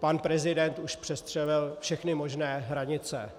pan prezident už přestřelil všechny možné hranice.